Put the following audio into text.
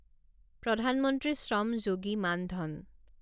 প্ৰধান মন্ত্ৰী শ্ৰম যোগী মান ধন